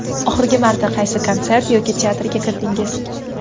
Oxirgi marta qaysi konsert yoki teatrga kirdingiz?